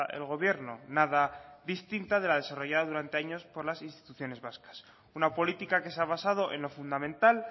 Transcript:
el gobierno nada distinta de la desarrollada durante años por las instituciones vascas una política que se ha basado en lo fundamental